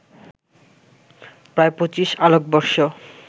প্রায় ২৫ আলোকবর্ষ